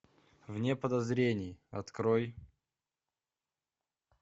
вне подозрений открой